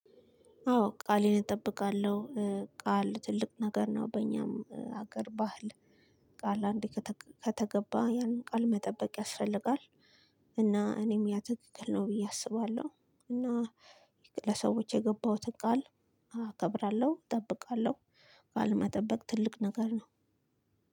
አዎ ቃሌን እጠብቃለሁ ቃል ትልቅ ነገር ነው በኛም አገር ባህል ቃል አንዴ ከተገባ ያንን ቃል መጠበቅ ያስፈልጋል። እና እኔም ያ ትክክል ነው ብዬ አስባለሁ እና ለሰዎች የገባሁትን ቃል እከብራለሁ እጠብቃለሁ። ቃል መጠበቅ ትልቅ ነገር ነው።